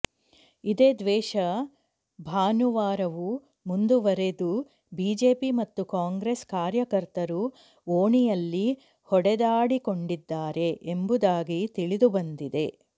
ಇದೇ ದ್ವೇಷ ಭಾನುವಾರವೂ ಮುಂದುವರೆದು ಬಿಜೆಪಿ ಮತ್ತು ಕಾಂಗ್ರೆಸ್ ಕಾರ್ಯಕರ್ತರು ಓಣಿಯಲ್ಲಿ ಹೊಡೆದಾಡಿಕೊಂಡಿದ್ದಾರೆ ಎಂಬುದಾಗಿ ತಿಳಿದುಬಂದಿದೆ